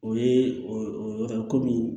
O ye komi